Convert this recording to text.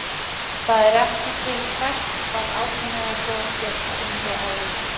Það er ekki til Hvert var átrúnaðargoð þitt á yngri árum?